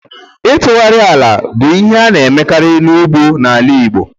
Ịtụgharị ala bụ ihe a na-emekarị n'ugbo n'ala Igbo.